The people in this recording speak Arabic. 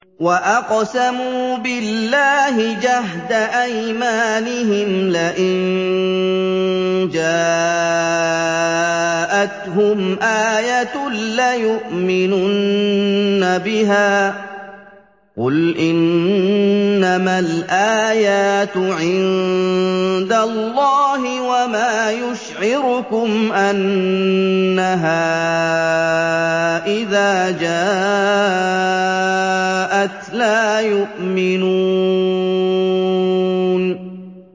وَأَقْسَمُوا بِاللَّهِ جَهْدَ أَيْمَانِهِمْ لَئِن جَاءَتْهُمْ آيَةٌ لَّيُؤْمِنُنَّ بِهَا ۚ قُلْ إِنَّمَا الْآيَاتُ عِندَ اللَّهِ ۖ وَمَا يُشْعِرُكُمْ أَنَّهَا إِذَا جَاءَتْ لَا يُؤْمِنُونَ